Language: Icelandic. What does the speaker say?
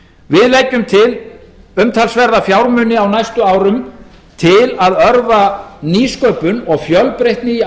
við leggjum til umtalsverða fjármuni á næstu árum til að örva nýsköpun og fjölbreytni í